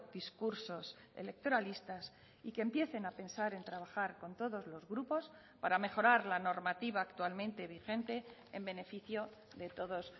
discursos electoralistas y que empiecen a pensar en trabajar con todos los grupos para mejorar la normativa actualmente vigente en beneficio de todos